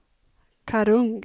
Karungi